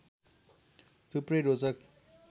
थुप्रै रोचक